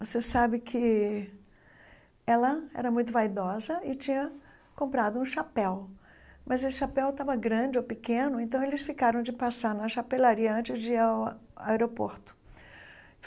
Você sabe que ela era muito vaidosa e tinha comprado um chapéu, mas esse chapéu estava grande ou pequeno, então eles ficaram de passar na chapelaria antes de ir ao aeroporto.